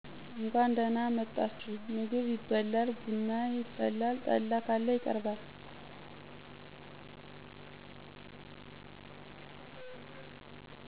እንኳን ደህና መጣችሁ ምግብ ይበላል ብና ይፈላል ጠላ ካለ ይቀርባል